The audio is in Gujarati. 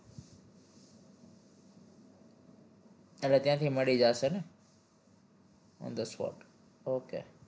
એટલે ત્યાંથી મળી જાશે ને on the spot okay